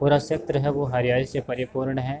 पूरा सेत्र है वो हरियाली से परिपूर्ण है।